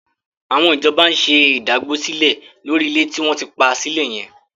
Àwọn ìjọba ń ṣe ìdágbósílẹ̀ lórí ilẹ̀ tí wọ́n ti pa sílẹ̀ yẹn.